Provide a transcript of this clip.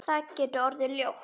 Það getur orðið ljótt.